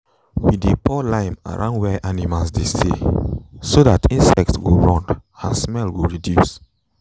we dey pour lime around where animals dey stay so that insects go run and smell go reduce.